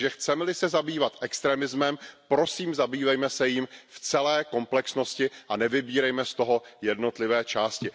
Takže chceme li se zabývat extremismem, prosím, zabývejme se jím v celé komplexnosti a nevybírejme z toho jednotlivé části.